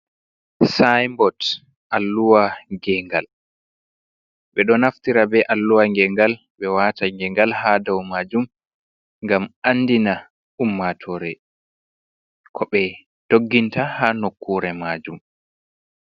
sayin bot alluwa gengal be do naftira be alluwa gengal ɓe wata gengal ha dau maajum ngam andina ummatore ko ɓe dogginta ha nokkure maajum.